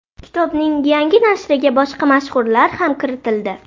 Kitobning yangi nashriga boshqa mashhurlar ham kiritildi.